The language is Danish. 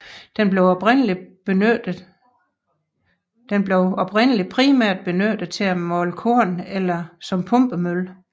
Den blev oprindelig primært benyttet til at male korn eller som pumpemølle